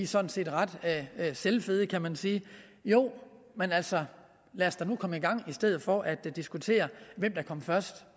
sådan set ret selvfede kan man sige jo men altså lad os da nu komme i gang i stedet for at diskutere hvem der kom først